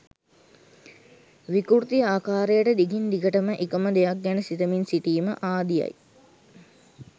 විකෘති ආකාරයට දිගින් දිගටම එක ම දෙයක් ගැන සිතමින් සිටීම ආදිය යි.